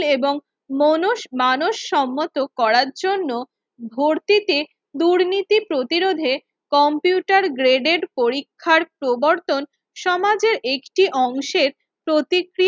এবং মনোজ মানুষ সম্মত করার জন্য ভর্তিতে দুর্নীতি প্রতিরোধে কম্পিউটার graded পরীক্ষার প্রবর্তন সমাজেরএকটি অংশের প্রতিক্রিয়ার